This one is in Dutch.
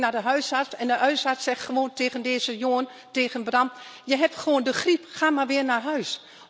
De familie ging naar de huisarts en de huisarts zegt gewoon tegen deze jongen Je hebt gewoon de griep, ga maar weer naar huis.